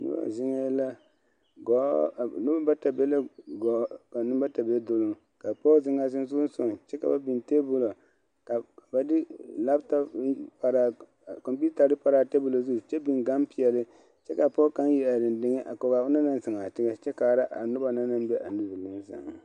Nobɔ zeŋɛɛ la gɔɔ noba bata be la gɔɔ ka neŋ bata be duloŋ ka pɔge zeŋaa sensogleŋsogaŋ kyɛ ba beŋ tabolɔ ka ba de laptap kyɛ beŋ kɔmpuutari paraa a tabolɔ zu kyɛ beŋ gaŋ peɛli kyɛ ka a pɔge kaŋ iri are deŋdeŋɛ kɔgaa a onaŋ naŋ zeŋaa teŋa kyɛ kaara nobɔ na naŋ be a niŋɛ sɛŋ na.